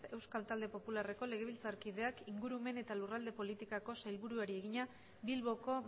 euskal talde popularreko legebiltzarkideak ingurumen eta lurralde politikako sailburuari egina bilboko